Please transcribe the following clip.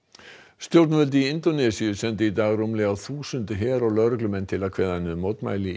stjórnvöld í Indónesíu sendu í dag rúmlega þúsund her og lögreglumenn til að kveða niður mótmæli